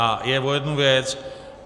A jde o jednu věc.